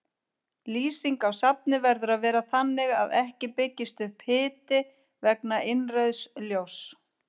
Lýsing á safni verður að vera þannig að ekki byggist upp hiti vegna innrauðs ljóss.